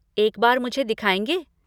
एक बार मुझे दिखाएँगे?